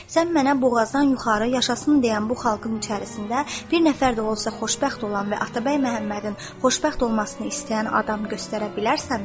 Sən mənə boğazdan yuxarı yaşasın deyən bu xalqın içərisində bir nəfər də olsa xoşbəxt olan və Atabəy Məhəmmədin xoşbəxt olmasını istəyən adam göstərə bilərsənmi?